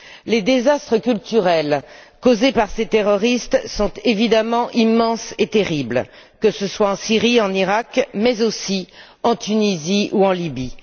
Les désastres culturels causés par ces terroristes sont immenses et terribles, que ce soient en Syrie, en Iraq mais aussi en Tunisie ou en Libye.